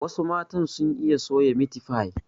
Wasu matan sun iya soya Miti fai